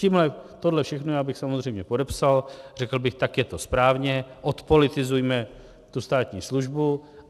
Tohle všechno já bych samozřejmě podepsal, řekl bych, tak je to správně, odpolitizujme tu státní službu.